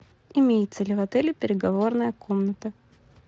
имеется ли в отеле переговорная комната